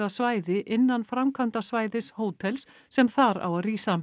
svæði innan framkvæmdasvæðis hótels sem þar á að rísa